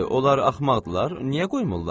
Nədir, onlar axmaqdırlar, niyə qoymurlar?